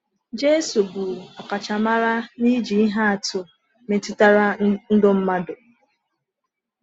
Jésù bụ ọkachamara n’iji ihe atụ metụtara ndụ mmadụ.